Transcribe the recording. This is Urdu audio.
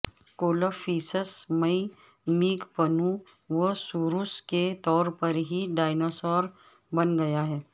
کولففیسس مئی میگپنووسوروس کے طور پر ہی ڈایناسور بن گیا ہے